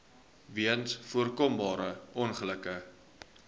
weens voorkombare ongelukke